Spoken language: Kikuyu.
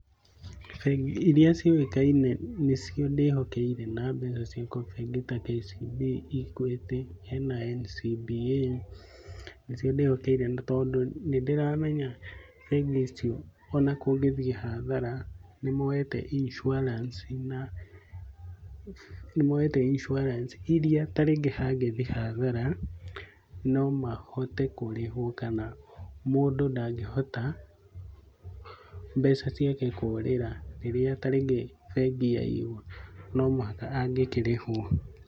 Bengi iria ciũĩkaine nĩcio ndĩhokeire na mbeca ciakwa, tarĩngĩ ta KCB, Equity, hena NCBA, nicio ndĩhokeire. Tondũ nĩdĩramenya bengi icio onakũngĩthiĩ hadhara, nĩmoyete insurance iria tarĩngĩ hangĩthiĩ hathara nomahote kũrĩhuo kana mũndũ ndangĩhota mbeca ciake kũrĩra rĩrĩa tarĩngĩ bengi yaiywo nomũhaka angĩkĩrĩhwo.